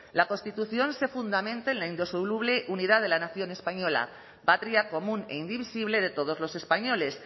la constitución se fundamenta en la indisoluble unidad de la nación española patria común e indivisible de todos los españoles